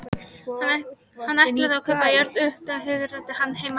Hann ætlaði að kaupa jörð, Fögrubrekku í Hrútafirði, hans heimahéraði.